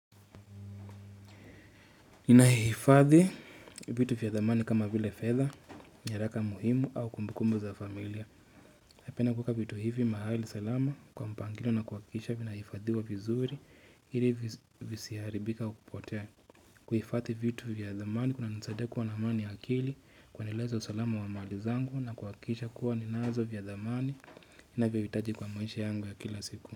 Nahifadhi vitu vya zamani kama vile fedha nyaraka muhimu au kumbukumbu za familia. Napenda kuweka vitu hivi mahali salama kwa mpangilio na kuhakisha vinaifadhiwa vizuri. Ili visiharibike kwa kupotea. Kuhifadhi vitu vya zamani, kuna nisaidia kuwa na amani akili, kuendeleza usalama wa mali zangu na kuhakikisha kuwa ninazo vya zamani. Ninavyovihitaji kwa maisha yangu ya kila siku.